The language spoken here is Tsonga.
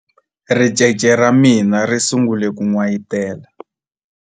ricece ra mina ri sungule ku n'wayitela